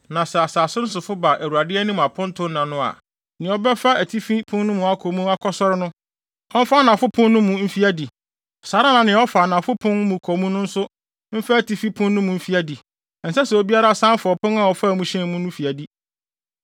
“ ‘Na sɛ asase no sofo ba Awurade anim apontonna no a, nea ɔbɛfa atifi pon no mu akɔ mu akɔsɔre no, ɔmfa anafo pon no mu mfi adi; saa ara na nea ɔfa anafo pon mu kɔ mu no nso mfa atifi pon no mu mfi adi. Ɛnsɛ sɛ obiara san fa ɔpon a ɔfaa mu hyɛn mu no mu fi adi.